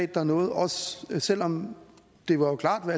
der nåede os selv om det jo klart var